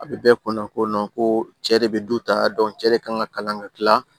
A bɛ bɛɛ kunna ko ko cɛ de bɛ du ta cɛ de kan ka kalan ka tila